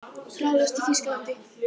Hraðlest í Þýskalandi.